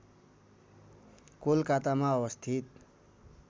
कोलकातामा अवस्थित